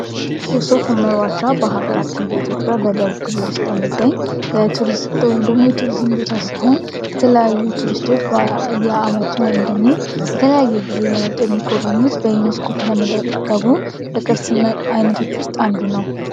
የሶፍ ሁመር ዋሻ በሀገራችን በደቡብ ክልል ውስጥ የሚገኝ የቱሪዝም ቦታ ሲሆን የተለያዩ ቱሪስቶች በየ አመቱ ደግሞ በተለያየ ግዜ የሚጎበኙት በዩኔስኮ ከተመዘገቡ ከቅርስ አይነቶች ውስጥ አንዱ ነው።